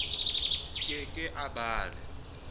ke ke a ba le